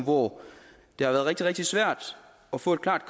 hvor det har været rigtig rigtig svært at få et klart